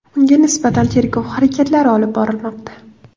Unga nisbatan tergov harakatlari olib borilmoqda.